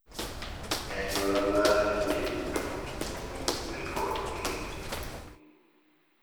E anyuola mara kinde duto wamiyo kwere kod daye ,